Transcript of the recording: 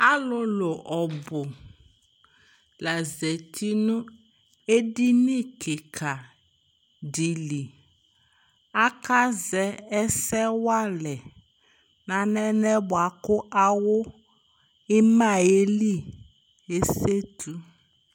Alʋlʋ ɔbʋ la zati nʋ edini kɩka dɩ li Akazɛ ɛsɛ wʋa alɛ nʋ alɛna yɛ bʋa kʋ awʋ ɩma yɛ li ezetu